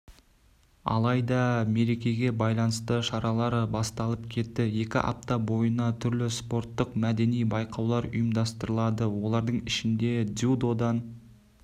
алайда мерекеге байланысты шаралар басталып кетті екі апта бойына түрлі спорттық-мәдени байқаулар ұйымдастырылады олардың ішінде дзюдодан